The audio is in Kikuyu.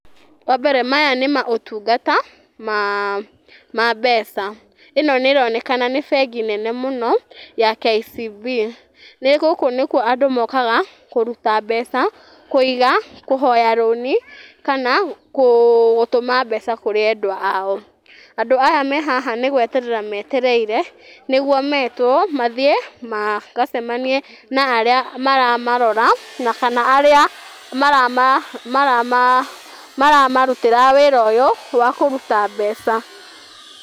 Wambere maya nĩ motungata ma mbeca, ĩno nĩ ĩronekana nĩ bengi nene mũno ya KCB, gũkũ nĩkuo andũ mokaga kũruta mbeca, kuiga, kũhoya rũni, kana gũtũma mbeca kũrĩ andũ ao. Andũ aya me haha nĩ gweterera metereire, nĩguo metwo mathiĩ magacamanie na arĩa maramarora, na kana arĩa maramarutĩra wĩra ũyũ wa kũruta mbeca.